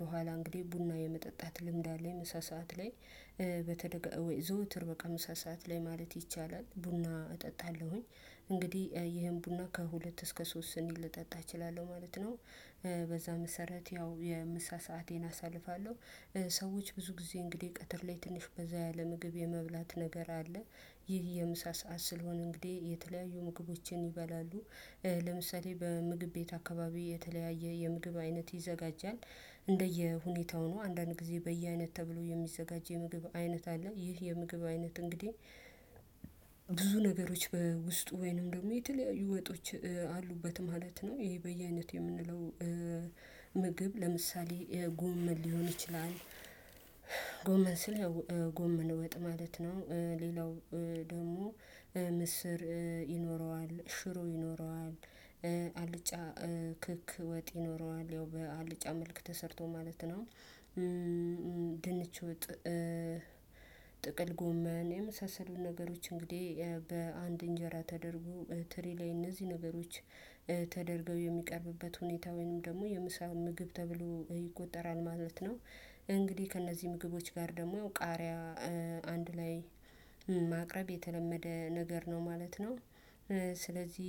በኋላ እንግዲህ ቡና የመጠጣት ልምድ አለኝ ምሳ ሰዓት ላይ። በተደጋ ወይ ዘውትር በቃ ምሳ ሰዓት ላይ ማለት ይቻላል ቡና እጠጣለሁኝ እንግዲህ ይሄን ቡና ከሁለት እስከ ሶስት ስኒ ልጠጣ እችላለሁ ማለት ነው። በዛ መሰረት ያው የምሳ ሰአቴን አሳልፋለሁ ሰዎች ብዙ ጊዜ እንግዲህ ቀትር ላይ ትንሽ በዛ ያለ ምግብ የመብላት ነገር አለ ይህ የምሳ ሰዓት ስለሆነ እንግዲህ የተለያዩ ምግቦችን ይበላሉ። ለምሳሌ በምግብ ቤት አካባቢ የተለያየ የምግብ አይነት ይዘጋጃል እንደየ ሁኔታው ነው አንዳንድ ጊዜ በየአይነት ተብሎ የሚዘጋጅ የምግብ አይነት አለ ይህ የምግብ አይነት እንግዲህ ብዙ ነገሮች በውስጡ ወይንም ደግሞ የተለያዩ ወጦች አሉበት ማለት ነው ይሄ በየአይነት የምንለው ምግብ ለምሳሌ ጎመን ሊሆን ይችላል ጎመን ስል ጎመን ወጥ ማለት ነው ሌላው ደግሞ ምስር ይኖረዋል ሽሮ ይኖረዋል አልጫ ክክ ወጥ ይኖረዋል ያው በአልጫ መልክ ተሰርቶ ማለት ነው። ድንች ጥቅል ጎመን የመሳሰሉ ነገሮች እንግዲህ በአንድ እንጀራ ተደርጎ ትሪ ላይ እነዚህ ነገሮች ተደርገው የሚቀርብበት ሁኔታ ወይንም ደግሞ የምሳ ምግብ ተብሎ ይቆጠራል ማለት ነው እንግዲህ ከእነዚህ ምግቦች ጋር ደግሞ ያው ቃሪያ አንድ ላይ ማቅረብ የተለመደ ነገር ነው ማለት ነው። ስለዚህ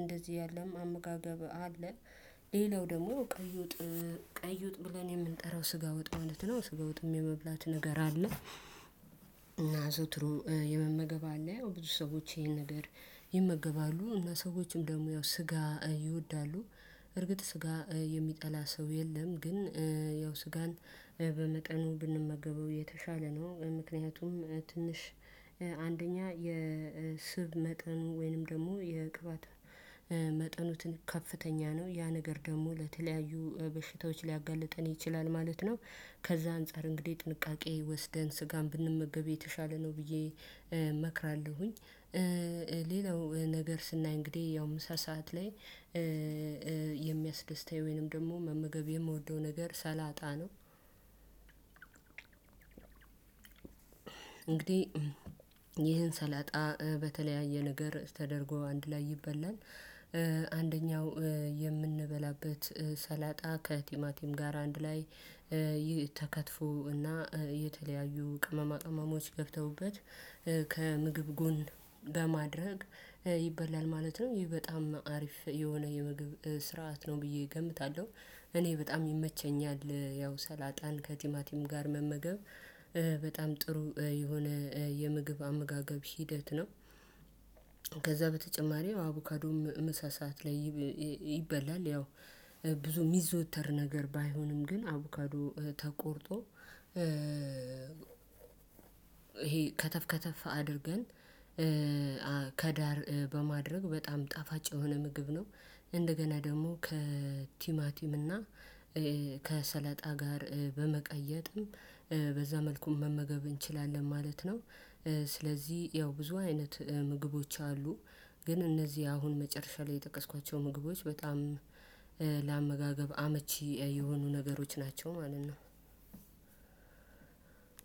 እንደዚህ ያለም አመጋገብ አለ። ሌላው ደግሞ ቀይ ወጥ ቀይ ወጥ ብለን የምንጠራው ስጋ ወጥ ማለት ነው ስጋ ወጥም የመብላት ነገር አለ። እና አዘውትሮ የመመገብ አለ ብዙ ሰዎች ይሄን ነገር ይመገባሉ እና ሰዎችም ደግሞ ያው ስጋ ይወዳሉ። እርግጥ ስጋ የሚጠላ ሰው የለም ግን ያው ስጋን በመጠኑ ብንመገበው የተሻለ ነው፤ ምክንያቱም ትንሽ አንደኛ የስብ መጠን ወይንም ደግሞ የቅባት መጠኑትን ከፍተኛ ነው ያ ነገር ደግሞ ለተለያዩ በሽታዎች ሊያጋልጠን ይችላል ማለት ነው፤ ከዛ አንፃር እንግዲህ ጥንቃቄ ወስደን ስጋን ብንመገብ የተሻለ ነው ብዬ እመክራለሁኝ። ሌላው ነገር ስናይ እንግዲህ ያው ምሳ ሰሀዓት ላይ የሚያስደስታኝ ወይንም ደግሞ መመገብ የምወደው ነገር ሰላጣ ነው እንግዲህ ይህን ሰላጣ በተለያየ ነገር ተደርጎ አንድ ላይ ይበላል። አንደኛው የምንበላበት ሰላጣ ከቲማቲም ጋር አንድ ላይ ይህ ተከትፎ እና የተለያዩ ቅመማ ቅመሞች ገብተውበት ከምግብ ጎን በማድረግ ይበላል ማለት ነው ይሄ በጣም አሪፍ የሆነ የምግብ ስርዓት ነው ብዬ እገምታለሁ እኔ በጣም ይመቸኛል ያው ሰላጣን ከቲማቲም ጋር መመገብ በጣም ጥሩ የሆነ የምግብ አመጋገብ ሂደት ነው። ከዛ በተጨማሪ አቡካዶም ምሳ ሰዓት ላይ ይበላል ያው ብዙ ሚዘወተር ነገር ባይሆንም ግን አቡካዶ ተቆርጦ ይሄ ከተፍ ከተፍ አድርገን ከዳር በማድረግ በጣም ጣፋጭ የሆነ ምግብ ነው። እንደገና ደግሞ ከቲማቲም እና ከሰለጣ ጋር በመቀየጥም በዛ መልኩም መመገብ እንችላለን ማለት ነው። ስለዚህ ያው ብዙ አይነት ምግቦች አሉ። ግን እነዚህ አሁን መጨረሻ ላይ የጠቀስኳቸው ምግቦች በጣም ለአመጋገብ አመቺ የሆኑ ነገሮች ናቸው ማለት ነው።